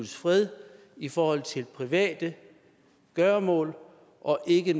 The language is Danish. fred i forhold til private gøremål og ikke